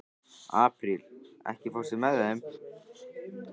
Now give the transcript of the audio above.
Apríl, ekki fórstu með þeim?